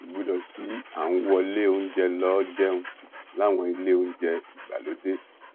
kò gbọdọ̀ sí à ń wọlé oúnjẹ lọ jẹun láwọn ilé oúnjẹ ìgbàlódé